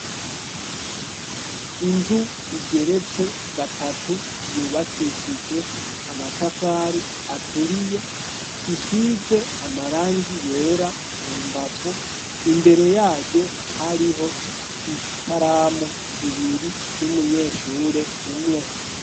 Inzu igeretse gatatu yubakishijwe amatafari aturiye isize amarangi yera mu mbavu imbere yayo hariho ikaramu zibiri n'umunyeshure umwe.